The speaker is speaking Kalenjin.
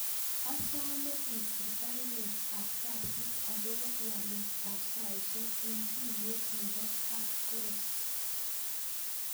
Asome isir baruet ab kasit agobo walet ab saisyek en tuyet nebo kap Koros